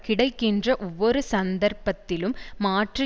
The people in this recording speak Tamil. கிடைக்கின்ற ஒவ்வொரு சந்தர்ப்பத்திலும் மாற்று